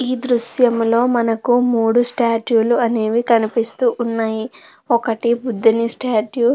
ఈ దృశ్యంలో మనకు మూడూ స్టాచ్యూ లు అనేవి కనిపిస్తూ ఉన్నాయి ఒకటి బుద్ధుని స్టాచ్యూ --